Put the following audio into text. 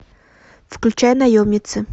включай наемницы